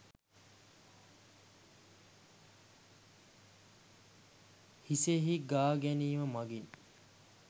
හිසෙහි ගා ගැනීම මගින්